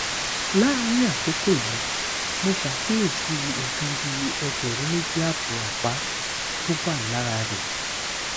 láàárín àkókò yìí mo ṣàkíyèsí nǹkan bí ẹgbẹrún méjì ààbọ àpá tó wà lára rẹ